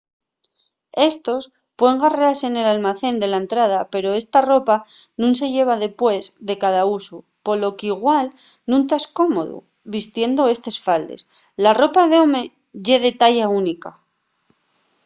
éstos puen garrase nel almacén de la entrada pero esta ropa nun se llava depués de cada usu polo qu’igual nun tas cómodu vistiendo estes faldes. ¡la ropa d’home ye de talla única!